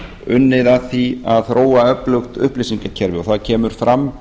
unnið að því að þróa öflugt upplýsingakerfi það kemur fram